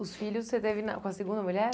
Os filhos você teve na com a segunda mulher?